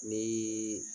Ni